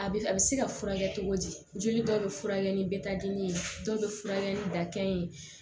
A bɛ a bɛ se ka furakɛ cogo di joli dɔw bɛ furakɛ ni bɛ taa dimi dɔw bɛ furakɛ ni dakɛ ye